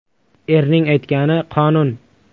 Erning aytgani – qonun.